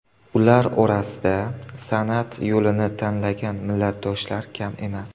Ular orasida san’at yo‘lini tanlagan millatdoshlar kam emas.